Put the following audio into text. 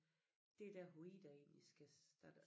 Det er der hvor Ida egentlig skal starte